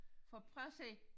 For prøv at se